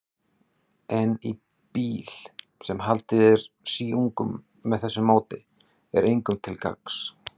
En bíll, sem haldið er síungum með þessu móti, er engum til gagns.